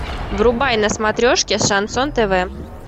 врубай на смотрешке шансон тв